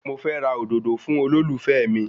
Mo fẹ́ ra òdòdó fún olólùfẹ́ mi